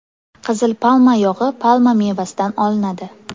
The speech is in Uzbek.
Qizil palma yog‘i palma mevasidan olinadi.